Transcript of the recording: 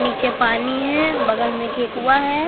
नीचे पानी हैं बगल में के कुआ हैं।